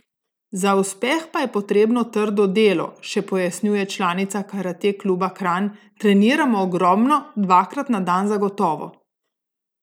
Za uspeh pa je potrebno trdo delo, še pojasnjuje članica karate kluba Kranj: "Treniram ogromno, dvakrat na dan zagotovo.